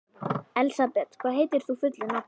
Elsabet, hvað heitir þú fullu nafni?